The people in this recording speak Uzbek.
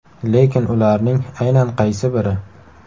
Lekin ularning aynan qaysi biri?